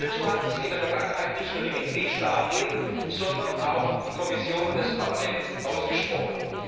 Hierfür hatten sich in der Vergangenheit nicht nur die Mitgliedstaaten, sondern auch die Kommission und das Parlament ausgesprochen.